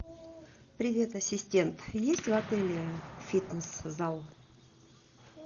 привет ассистент есть в отеле фитнес зал